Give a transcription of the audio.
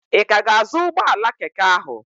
Ị ka ga-azụ ụgbọala keke ahụ?